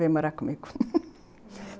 Vem morar comigo.